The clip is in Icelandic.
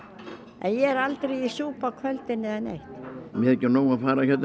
er aldrei í súpu á kvöldin eða neitt mér þykir nóg að fara